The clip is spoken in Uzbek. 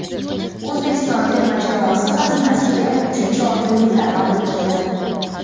O‘zbekiston terma jamoasi xazinasiga uchinchi oltin medalni olib keldi.